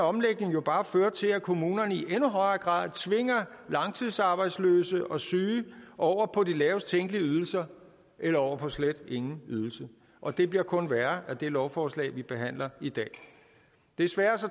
omlægning jo bare føre til at kommunerne i endnu højere grad tvinger langtidsarbejdsløse og syge over på de lavest tænkelige ydelser eller over på slet ingen ydelse og det bliver kun værre af det lovforslag vi behandler i dag desværre